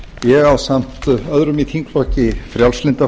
ég ásamt öðrum í þingflokki frjálslynda